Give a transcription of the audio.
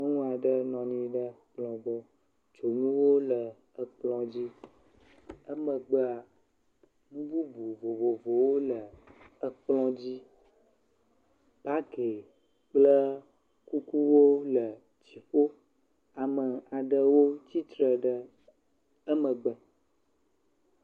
Nyɔnuaɖe nɔ anyi ɖe kplɔ gbɔ. Dzonuwo le ekplɔ dzi emegbea nu bubu vovovowo le ekplɔ dzi. Bagi kple kukuwo le dziƒo. Ame aɖewo tsitre ɖe emegbe.